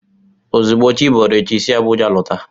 Ozugbo chiboro echi, si Abuja lọta!